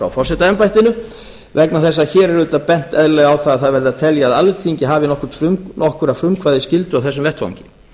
frá forsetaembættinu vegna þess að hér auðvitað bent eðlilega á að það verði að telja að alþingi hafi nokkra frumkvæðisskyldu á þessum vettvangi